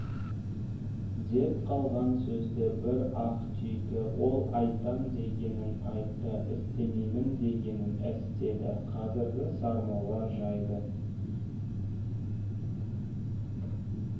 деп қалған сөзді бір-ақ түйді ол айтам дегенін айтты істеймін дегенін істеді қазіргі сармолла жайды